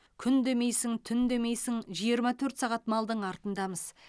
күн демейсің түн демейсің жиырма төрт сағат малдың артындамыз